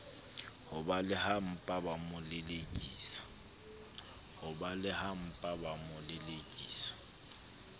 ho balehaempa ba mo lelekisa